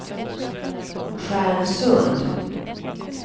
Stjärnsund